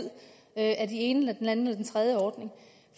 af den ene eller den anden eller den tredje ordning